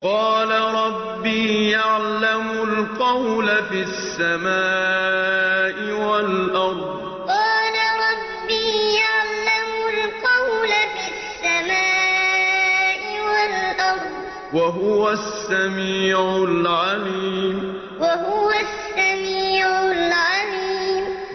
قَالَ رَبِّي يَعْلَمُ الْقَوْلَ فِي السَّمَاءِ وَالْأَرْضِ ۖ وَهُوَ السَّمِيعُ الْعَلِيمُ قَالَ رَبِّي يَعْلَمُ الْقَوْلَ فِي السَّمَاءِ وَالْأَرْضِ ۖ وَهُوَ السَّمِيعُ الْعَلِيمُ